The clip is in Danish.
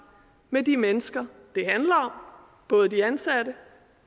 med de mennesker det handler både de ansatte